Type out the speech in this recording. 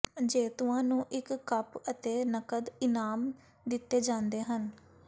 ਜੇਤੂਆਂ ਨੂੰ ਇੱਕ ਕੱਪ ਅਤੇ ਨਕਦ ਇਨਾਮ ਦਿੱਤੇ ਜਾਂਦੇ ਹਨ